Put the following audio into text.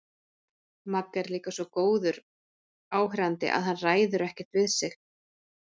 Magga er líka svo góður áheyrandi að hann ræður ekkert við sig.